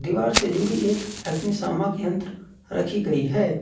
दीवार से जुड़ी एक अग्निशामक यंत्र रखी गई है।